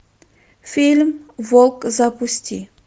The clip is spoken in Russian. фильм волк запусти